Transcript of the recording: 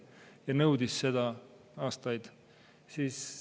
Ja ta nõudis seda aastaid.